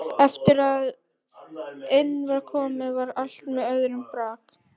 Eftir að inn var komið var allt með öðrum brag.